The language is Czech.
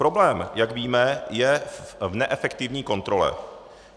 Problém, jak víme, je v neefektivní kontrole.